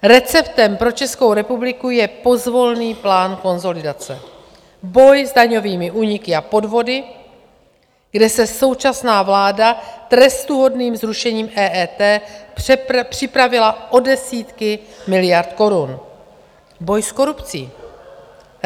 Receptem pro Českou republiku je pozvolný plán konsolidace, boj s daňovými úniky a podvody, kde se současná vláda trestuhodným zrušením EET připravila o desítky miliard korun, boj s korupcí.